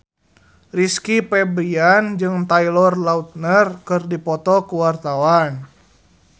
Rizky Febian jeung Taylor Lautner keur dipoto ku wartawan